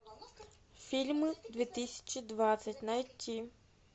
фильмы две тысячи двадцать найти